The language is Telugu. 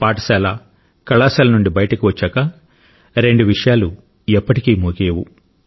పాఠశాల కళాశాల నుండి బయటికి వచ్చాక రెండు విషయాలు ఎప్పటికీ ముగియవు